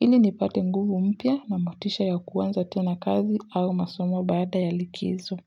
ili nipate nguvu mpyia na motisha ya kuwanza tena kazi au masomo baada ya likizo.